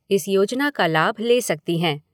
इस योजना का लाभ ले सकती हैं।